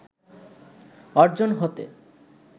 অর্জন হতে